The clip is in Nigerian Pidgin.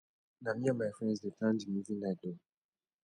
na me and my friends dey plan di movie night o